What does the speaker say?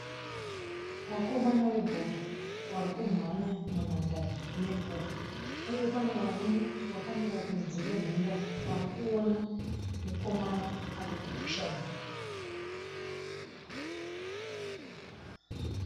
Vakomana vebhora vari kumhanya munhandare nebhora uye pane varume vakamira kunze kwenhandare vari kuona mukomana ari kupusha bhora.